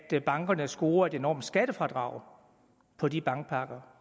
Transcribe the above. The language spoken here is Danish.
at bankerne scorer et enormt skattefradrag på de bankpakker